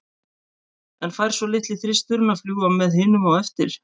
En fær svo litli þristurinn að fljúga með hinum á eftir?